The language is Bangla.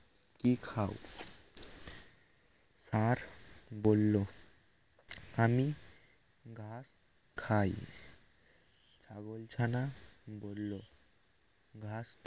কি খাও আর বলল আমি ঘাস খায় ছাগলছানা বলল ঘাস